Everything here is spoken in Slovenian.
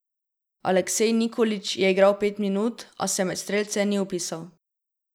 Aleksej Nikolić je igral pet minut, a se med strelce ni vpisal.